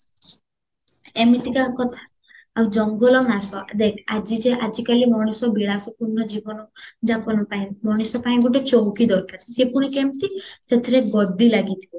ଏମିତିକା କଥା ଆଉ ଜଙ୍ଗଲ ନାଶ ଦେଖ ଆଜି ଯେ ଆଜି କାଲୀ ମଣିଷ ବିଲାଶ ପୂର୍ଣା ଜୀବନ ଯାପନ ପାଇଁ ମଣିଷ ପାଇଁ ଗୋଟେ ଚୌକି ଦରକାର ସିଏ ପୁଣି କେମିତ ସେଥିରେ ଗଦି ଲାଗିଥିବ